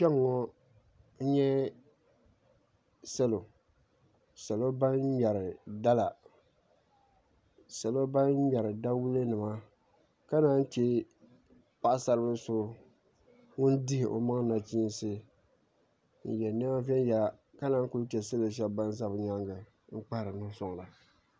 Kpɛŋŋo n nyɛ salo ban ŋmɛri dala salo ban ŋmɛri dawulɛ nima ka naan chɛ paɣasari bili so ŋun dihi o maŋ nachiinsi n yɛ niɛma viɛnyɛla ka naan chɛ salo shab ban ʒɛ bi nyaangi maa n kpahari bi nuhi soŋda